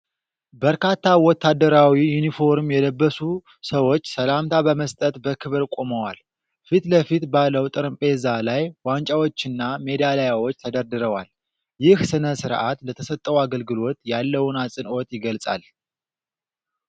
በርካታ ወታደራዊ ዩኒፎርም የለበሱ ሰዎች ሰላምታ በመስጠት በክብር ቆመዋል። ፊት ለፊት ባለው ጠረጴዛ ላይ ዋንጫዎችና ሜዳሊያዎች ተደርድረዋል። ይህ ሥነ-ሥርዓት ለተሰጠው አገልግሎት ያለውን አጽንዖት ይገልጻል።